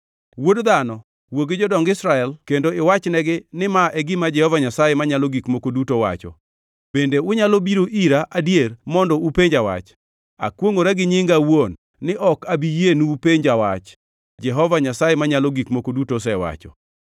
Wuod dhano, wuo gi jodong Israel kendo iwachnegi ni ma e gima Jehova Nyasaye Manyalo Gik Moko Duto wacho, Bende unyalo biro ira adier mondo upenja wach? Akwongʼora gi nyinga awuon ni ok abi yienu upenja wach, Jehova Nyasaye Manyalo Gik Moko Duto osewacho.